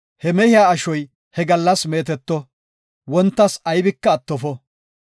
He mehiya ashoy he gallas meeteto; wontas aybika attofo.